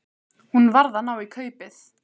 Hún varð að ná í kaupið.